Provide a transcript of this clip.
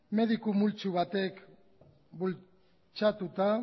mediku multzo batek bultzatuta